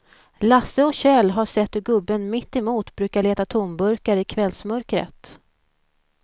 Lasse och Kjell har sett hur gubben mittemot brukar leta tomburkar i kvällsmörkret.